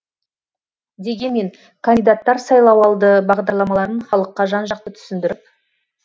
дегенмен кандидаттар сайлауалды бағдарламаларын халыққа жан жақты түсіндіріп